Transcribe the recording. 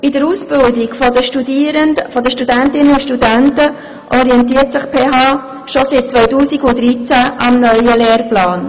In der Ausbildung der Studentinnen und Studenten orientiert sich die PHBern schon seit 2013 am neuen Lehrplan.